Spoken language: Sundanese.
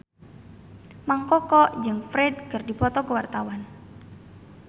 Mang Koko jeung Ferdge keur dipoto ku wartawan